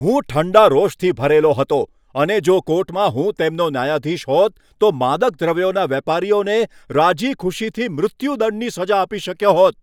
હું ઠંડા રોષથી ભરેલો હતો અને જો કોર્ટમાં હું તેમનો ન્યાયાધીશ હોત તો માદક દ્રવ્યોના વેપારીઓને રાજીખુશીથી મૃત્યુદંડની સજા આપી શક્યો હોત.